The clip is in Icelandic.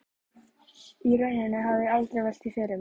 Í rauninni hafði ég aldrei velt því fyrir mér.